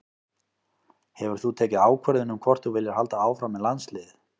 Hefur þú tekið ákvörðun um hvort að þú viljir halda áfram með landsliðið?